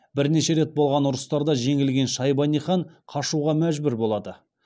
бірнеше рет болған ұрыстарда жеңілген шайбани хан қашуға мәжбүр болады